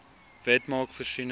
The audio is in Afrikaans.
wet maak voorsiening